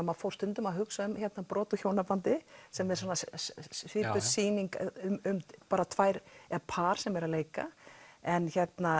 maður fór stundum að hugsa um brot úr hjónabandi sem er svipuð sýning um tvær par sem er að leika en